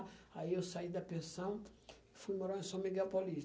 Aí eu saí da pensão, fui morar em São Miguel Paulista.